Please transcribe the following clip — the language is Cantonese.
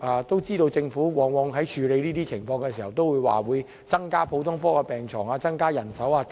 當然，政府往往在處理這些情況的時候都會表示，會增加普通科病床、增加人手等。